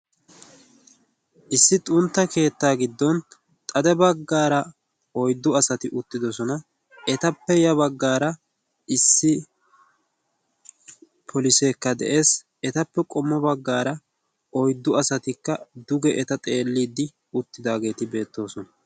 issi xuntta keettaa giddon xade baggaara oiddu asati uttidosona, etappe ya baggaara issi poliseekka de7ees. etappe qommo baggaara oiddu asatikka duge eta xeelliiddi uttidaageeti beettoosona.